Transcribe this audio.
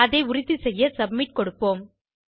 அதை உறுதி செய்ய சப்மிட் கொடுப்போம்